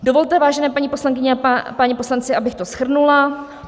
Dovolte, vážené paní poslankyně a páni poslanci, abych to shrnula.